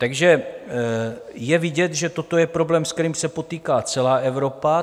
Takže je vidět, že toto je problém, se kterým se potýká celá Evropa.